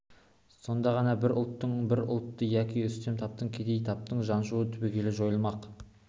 сонда ғана бір ұлттың бір ұлтты яки үстем таптың кедей тапты жаншуы түбегейлі жойылмақ